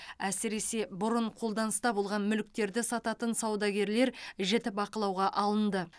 әсіресе бұрын қолданыста болған мүліктерді сататын саудагерлер жіті бақылауға алынды